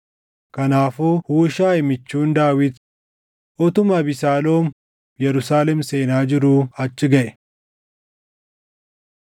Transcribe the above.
Kanaafuu Huushaayi michuun Daawit utuma Abesaaloom Yerusaalem seenaa jiruu achi gaʼe.